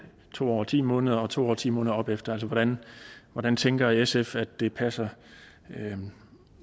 to år og ti måneder og to år og ti måneder og opefter hvordan hvordan tænker sf at det passer